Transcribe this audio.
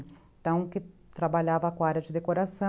Então, que trabalhava com a área de decoração.